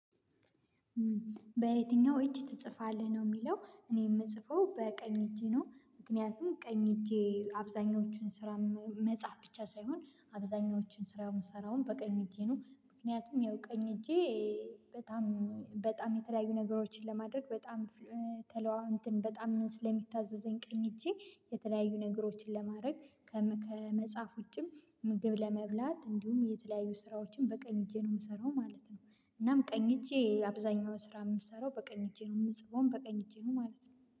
በየትኛው እጅ ትጽፋለህ? ነው የሚለው እኔ የምጽፈው በቀኝ እጄ ነው፤ ምክንያቱም ቀኝ እጄ አብዛኞቹን ስራ መጻፍ ብቻ ሳይሆን አብዛኞቹን ስራ የምሰራውም በቀኝ እጄ ነው፤ ምክንያቱም ያው ቀኝ እጄ በጣም በጣም የተለያዩ ነገሮችን ለማድረግ በጣም ተለዋ በጣም ስለሚታዘዘኝ ቀኝ እጄ የተለያዩ ነገሮችን ለማድረግ ከመጻፍ ውጪም ምግብ፣ ለመብላት እንዲሁም የተለያዩ ስራዎችን በቀኝ እጄ ነው የምሰራው ማለት ነው። እናም ቀኝ እጄ አብዛኛውን ስራ የምሰራው በቀኝ እጄ ነው የምጽፈው በቀኝ እጄ ነው ማለት ነው።